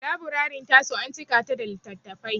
Laburarin ta su an cika ta da littattafai.